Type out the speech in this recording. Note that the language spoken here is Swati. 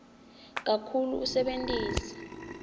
kakhulu usebentise